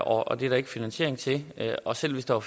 og det er der ikke finansiering til og selv hvis der